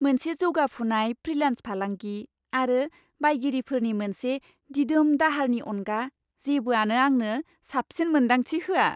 मोनसे जौगाफुनाय फ्रिलान्स फालांगि आरो बायगिरिफोरनि मोनसे दिदोम दाहारनि अनगा जेबोआनो आंनो साबसिन मोन्दांथि होआ।